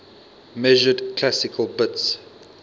measured classical bits